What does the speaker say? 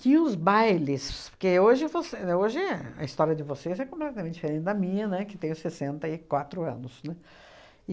Tinha os bailes, porque hoje você hoje é a história de vocês é completamente diferente da minha, né, que tenho sessenta e quatro anos, né,